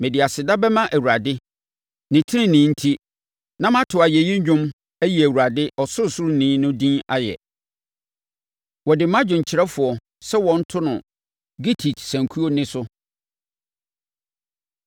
Mede aseda bɛma Awurade ne tenenee enti na mato ayɛyi dwom ayi Awurade, Ɔsorosoroni no din ayɛ. Wɔde ma dwomkyerɛfoɔ sɛ wɔnto no “gittit” sankuo nne so.